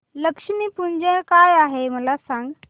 लक्ष्मी पूजन काय आहे मला सांग